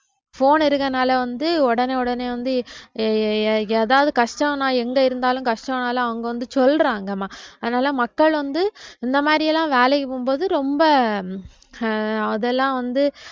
phone இருக்கறதுனால வந்து உடனே உடனே வந்து ஏ~ ஏதாவது கஷ்டம்னா எங்க இருந்தாலும் கஷ்டம்னாலும் அவங்க வந்து சொல்றாங்கம்மா அதனால மக்கள் வந்து இந்த மாதிரி எல்லாம் வேலைக்கு போகும்போது ரொம்ப அஹ் அதெல்லாம் வந்து